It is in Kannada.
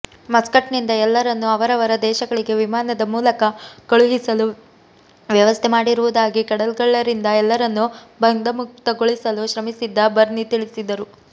ಮಸ್ಕಟ್ನಿಂದ ಎಲ್ಲರನ್ನೂ ಅವರವರ ದೇಶಗಳಿಗೆ ವಿಮಾನದ ಮೂಲಕ ಕಳುಹಿಸಲು ವ್ಯವಸ್ಥೆ ಮಾಡಿರುವುದಾಗಿ ಕಡಲ್ಗಳ್ಳರಿಂದ ಎಲ್ಲರನ್ನು ಬಂಧಮುಕ್ತಗೊಳಿಸಲು ಶ್ರಮಿಸಿದ್ದ ಬರ್ನಿ ತಿಳಿಸಿದರು